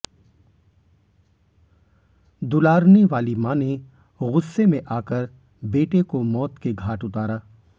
दुलारने वाली मां ने गुस्से में आ कर बेटे को मौत के घाट उतारा